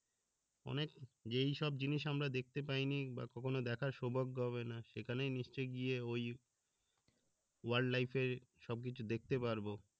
অনেক যেইসব জিনিস আমরা দেখতে পাইনি বা কখনো দেখার সৌভাগ্য হবে না সেখানে নিশ্চয়ই গিয়ে ওই সবকিছু দেখতে পারব